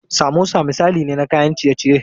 Samosa misali ne na kayan ciye ciye.